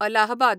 Allahabad